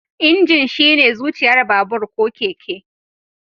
Injin shine zuciyar babur/keke